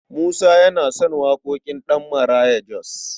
Musa yana son waƙoƙin Ɗabmaraya Jos.